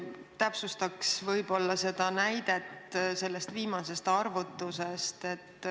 Täpsustaks võib-olla näidet sellest viimasest arvutusest.